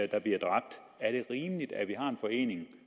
der bliver dræbt er det rimeligt at vi har en forening